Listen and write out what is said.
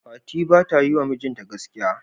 Fati bata yiwa mijinta gaskiya.